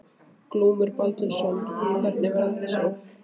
Glúmur Baldvinsson: Hvernig verða þessi óhöpp?